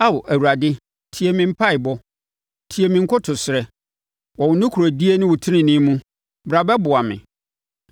Ao Awurade, tie me mpaeɛbɔ, tie me nkotosrɛ; wɔ wo nokorɛdie ne tenenee mu bra bɛboa me.